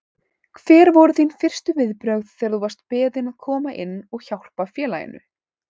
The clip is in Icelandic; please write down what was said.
Hver voru þín fyrstu viðbrögð þegar þú varst beðinn að koma inn og hjálpa félaginu?